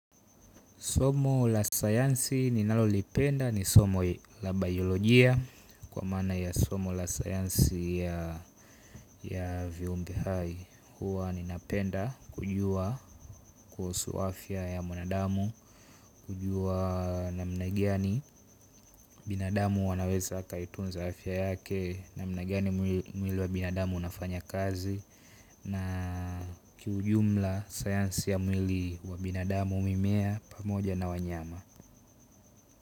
Somo la sayansi ni nalolipenda ni somo la biolojia kwa manaa ya somo la sayansi ya viumbe hai huwa ninapenda kujua kuhusu afya ya mwanadamu, kujua namna gani binadamu wanaweza akaitunza afya yake namna gani mwili wa binadamu unafanya kazi na kiujumla sayansi ya mwili wa binadamu mimea pamoja na wanyama.